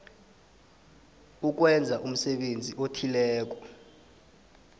ukwenza umsebenzi othileko